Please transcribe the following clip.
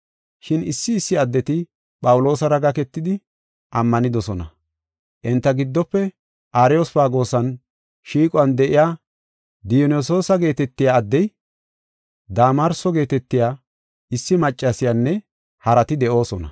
Shin issi issi addeti Phawuloosara gaketidi ammanidosona. Enta giddofe Ariyospagoosan shiiquwan de7iya Diyonasiyoosa geetetiya addey, Damarso geetetiya issi maccasiyanne harati de7oosona.